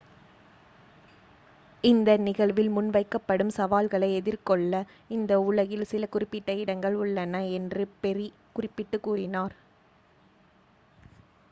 இந்த நிகழ்வில் முன்வைக்கப்படும் சவால்களை எதிர்கொள்ள இந்த உலகில் சில குறிப்பிட்ட இடங்கள் உள்ளன' என்று பெர்ரி குறிப்பிட்டு கூறினார்